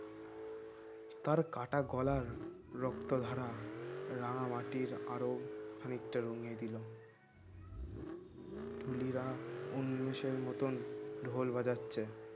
তার কাঁটা গলার রক্তধারা রাঙামাটির আরো খানিকটা রঙিয়ে দিল ঢুলিরা ঊনিশের মতন ঢোল বাজাচ্ছে